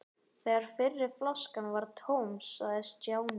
Þegar fyrri flaskan var tóm sagði Stjáni